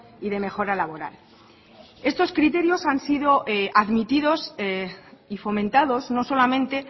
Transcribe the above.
y de mejora laboral estos criterios han sido admitidos y fomentados no solamente